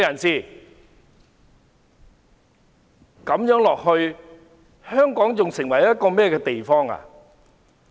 這樣子下去，香港會變成一個怎樣的地方？